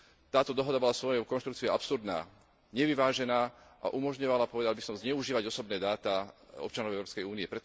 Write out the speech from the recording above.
Táto dohoda bola svojou konštrukciou absurdná, nevyvážená a umožňovala, povedal by som, zneužívať osobné dáta občanov Európskej únie.